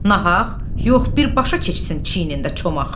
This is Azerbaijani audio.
Nahaq, yox, birbaşa keçsin çiynində çomaq!